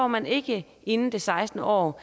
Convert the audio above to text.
man ikke inden det sekstende år